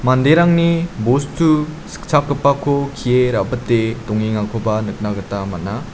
manderangni bostu sikchakgipako kee rabite dongengakoba nikna gita man·a.